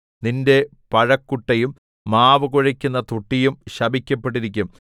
നിന്റെ പഴ കുട്ടയും മാവു കുഴക്കുന്ന തൊട്ടിയും ശപിക്കപ്പെട്ടിരിക്കും